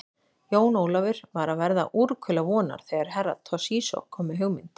Jón Ólafur var að verða úrkula vonar þegar Herra Toshizo kom með hugmynd.